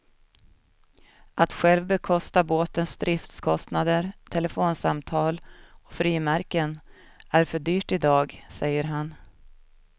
Att själv bekosta båtens driftskostnader, telefonsamtal och frimärken är för dyrt idag, säger han.